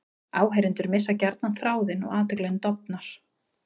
Áheyrendur missa gjarnan þráðinn og athyglin dofnar.